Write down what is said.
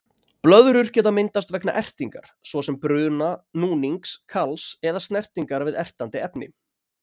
Blöðrur geta myndast vegna ertingar, svo sem bruna, núnings, kals eða snertingar við ertandi efni.